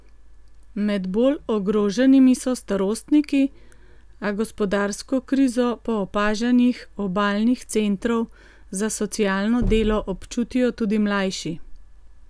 Med bolj ogroženimi so starostniki, a gospodarsko krizo po opažanjih obalnih centrov za socialno delo občutijo tudi mlajši.